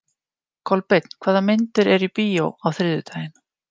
Kolbeinn, hvaða myndir eru í bíó á þriðjudaginn?